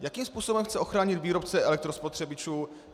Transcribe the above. Jakým způsobem chce ochránit výrobce elektrospotřebičů?